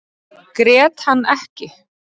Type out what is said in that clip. Grét hann ekki.